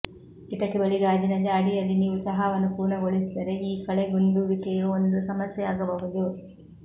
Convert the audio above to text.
ಕಿಟಕಿ ಬಳಿ ಗಾಜಿನ ಜಾಡಿಯಲ್ಲಿ ನೀವು ಚಹಾವನ್ನು ಪೂರ್ಣಗೊಳಿಸಿದರೆ ಈ ಕಳೆಗುಂದುವಿಕೆಯು ಒಂದು ಸಮಸ್ಯೆಯಾಗಬಹುದು